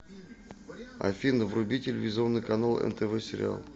афина вруби телевизионный канал нтв сериал